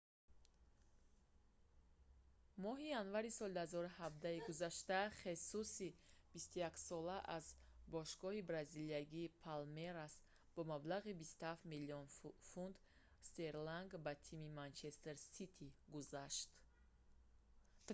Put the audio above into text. моҳи январи соли 2017-и гузашта хесуси 21 сола аз бошгоҳи бразилиягии палмерас бо маблағи 27 млн фунт стерлинг ба тими манчестер сити гузашт